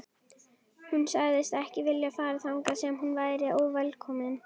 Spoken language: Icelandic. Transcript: Hún sagðist ekki vilja fara þangað sem hún væri óvelkomin.